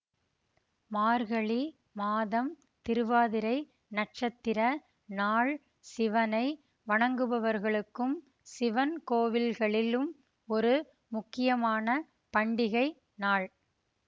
மார்கழி மாதம் திருவாதிரை நட்சத்திர நாள் சிவனை வணங்குபவர்களுக்கும் சிவன்கோவில்களிலும் ஒரு முக்கியமான பண்டிகை நாள்